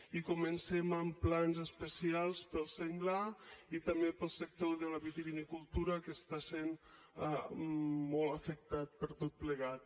i comencem amb plans especials per al senglar i també per al sector de la vitivinicultura que està sent molt afectat per tot plegat